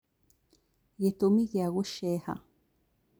Gĩtũmi gĩa gũceeha